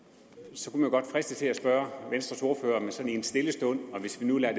så kunne man godt fristes til at spørge venstres ordfører sådan i en stille stund og hvis vi nu lader